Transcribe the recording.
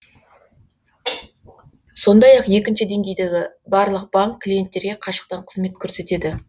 сондай ақ екінші деңгейдегі барлық банк клиенттерге қашықтан қызмет көрсетеді